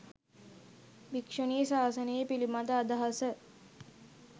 භික්‍ෂුණී ශාසනය පිළිබඳ අදහස